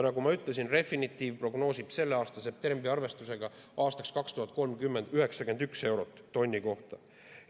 Nagu ma ütlesin, Refinitiv prognoosib selle aasta septembri arvestusega 2030. aastaks 91 eurot tonni kohta.